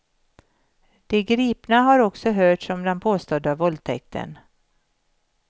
De gripna har också hörts om den påstådda våldtäkten.